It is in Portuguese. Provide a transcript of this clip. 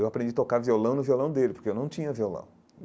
Eu aprendi tocar violão no violão dele, porque eu não tinha violão.